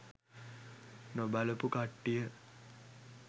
නොබලපු කට්ටිය